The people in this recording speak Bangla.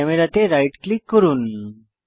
ক্যামেরা তে রাইট ক্লিক করুন